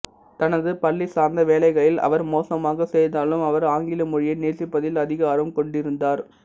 தனது பள்ளி சார்ந்த வேலைகளில் அவர் மோசமாகச் செய்தாலும் அவர் ஆங்கில மொழியை நேசிப்பதில் அதிக ஆர்வம் கொண்டிருந்தார்